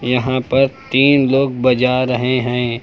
यहां पर तीन लोग बजा रहे हैं।